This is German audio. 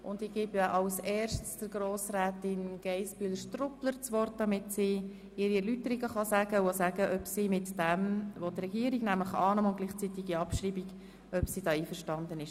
Ich gebe Grossrätin Geissbühler das Wort, damit sie ihren Vorstoss erläutern und sagen kann, ob Sie mit dem Regierungsantrag auf Annahme und gleichzeitige Abschreibung einverstanden ist.